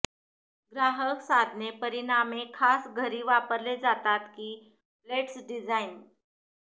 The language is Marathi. ग्राहक साधने परिमाणे खास घरी वापरले जातात की प्लेट्स डिझाइन